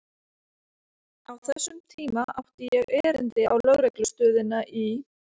Á þessum tíma átti ég erindi á lögreglustöðina í